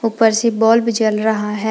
ऊपर से बल्ब जल रहा है।